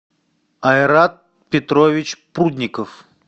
айрат петрович прудников